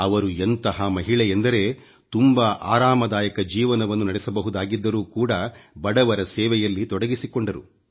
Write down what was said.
ಅವರು ಎಂತಹ ಮಹಿಳೆಯೆಂದರೆ ತುಂಬಾ ಆರಾಮದಾಯಕ ಜೀವನವನ್ನು ನಡೆಸಬಹುದಾಗಿದ್ದರೂ ಕೂಡ ಬಡವರ ಸೇವೆಯಲ್ಲಿ ತೊಡಗಿಸಿಕೊಂಡರು